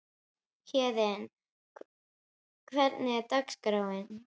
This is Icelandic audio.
Héðinn, hvernig er dagskráin?